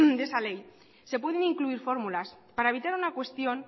de esa ley se pueden incluir formulas para evitar una cuestión